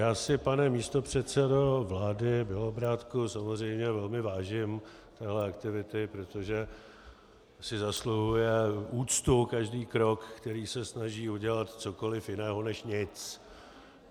Já si, pane místopředsedo vlády Bělobrádku, samozřejmě velmi vážím téhle aktivity, protože si zasluhuje úctu každý krok, který se snaží udělat cokoliv jiného než nic.